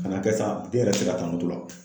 Ka n'a kɛ sa den yɛrɛ tɛ se ka ta la.